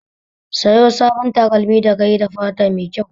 Sayo sabon takalmi da kayi da fata mai kyau